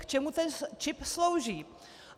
K čemu ten čip slouží?"